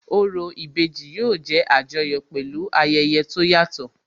Orò ìbejì yóò jẹ́ Àjọyọ̀ pẹ̀lú ayẹyẹ tó yàtọ̀